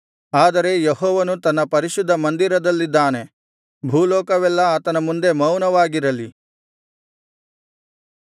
ಆದರೆ ಯೆಹೋವನು ತನ್ನ ಪರಿಶುದ್ಧ ಮಂದಿರದಲ್ಲಿದ್ದಾನೆ ಭೂಲೋಕವೆಲ್ಲಾ ಆತನ ಮುಂದೆ ಮೌನವಾಗಿರಲಿ